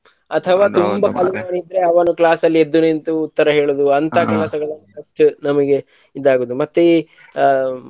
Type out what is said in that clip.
ಅಥವಾ ತುಂಬಾ ಕಲಿಯುವವನು ಇದ್ರೆ ಅವನು class ಲ್ಲಿ ಎದ್ದು ನಿಂತು ಉತ್ತರ ಹೇಳಿದ್ದು ಅಂತ ಕೆಲಸಗಳು ಅಷ್ಟೇ ನಮಗೆ ಇದಾಗುವುದು ಮತ್ತೆ ಈ ಅ.